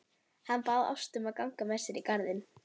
Hann bað Ástu að ganga með sér í garðinn.